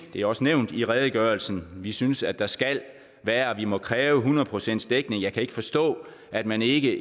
det er også nævnt i redegørelsen vi synes at der skal være og vi må kræve hundrede procents dækning jeg kan ikke forstå at man ikke